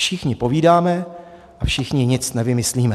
Všichni povídáme a všichni nic nevymyslíme.